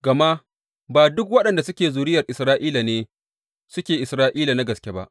Gama ba duk waɗanda suke zuriyar Isra’ila ne suke Isra’ila na gaske ba.